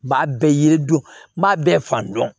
B'a bɛɛ yiri don n b'a bɛɛ fan dɔn